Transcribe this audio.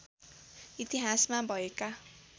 इतिहासमा भएका